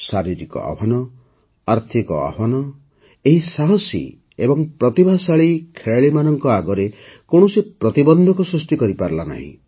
ଶାରୀରିକ ଆହ୍ୱାନ ଆର୍ଥିକ ଆହ୍ୱାନ ଏହି ସାହସୀ ଏବଂ ପ୍ରତିଭାଶାଳୀ ଖେଳାଳୀମାନଙ୍କ ଆଗରେ କୌଣସି ପ୍ରତିବନ୍ଧକ ସୃଷ୍ଟି କରିପାରିଲାନି